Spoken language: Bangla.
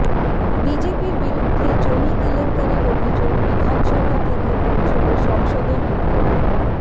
বিজেপির বিরুদ্ধে জমি কেলেঙ্কারির অভিযোগ বিধানসভা থেকে পৌঁছল সংসদের দোরগোড়ায়